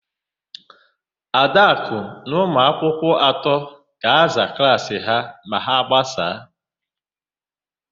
Adakụ na ụmụakwụkwọ atọ ga-aza klaasị ha ma a gbasaa.